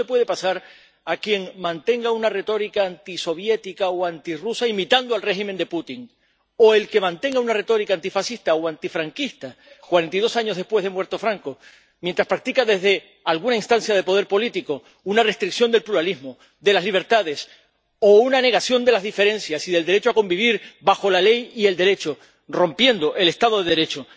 Y eso le puede pasar a quien mantenga una retórica antisoviética o antirrusa imitando al régimen de Putin, o al que mantenga una retórica antifascista o antifranquista cuarenta y dos años después de muerto Franco mientras practica desde alguna instancia de poder político una restricción del pluralismo, de las libertades, o una negación de las diferencias y del derecho a convivir bajo la ley y el Derecho, rompiendo el Estado de Derecho.